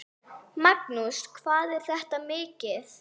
Magnús: Hvað er þetta mikið?